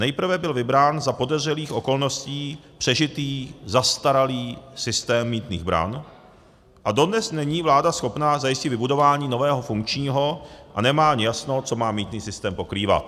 Nejprve byl vybrán za podezřelých okolností přežitý zastaralý systém mýtných bran a dodnes není vláda schopná zajistit vybudování nového funkčního a nemá ani jasno, co má mýtný systém pokrývat.